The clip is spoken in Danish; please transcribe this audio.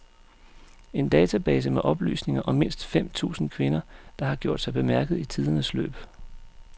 En database med oplysninger om mindst fem tusind kvinder, der har gjort sig bemærket i tidernes løb.